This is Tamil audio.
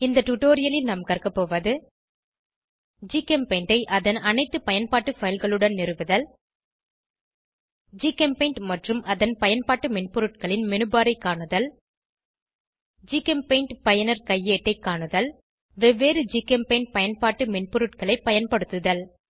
இந்த டுடோரியலில் நாம் கற்கபோவது ஜிகெம்பெயிண்டை அதன் அனைத்து பயன்பாட்டு fileகளுடன் நிறுவுதல் ஜிகெம்பெயிண்ட் மற்றும் அதன் பயன்பாட்டு மென்பொருட்களின் மெனுபர் ஐ காணுதல் ஜிகெம்பெயிண்ட் பயனர் கையேட்டை காணுதல் வெவ்வேறு ஜிகெம்பெயிண்ட் பயன்பாட்டு மென்பொருள்களை பயன்படுத்துதல்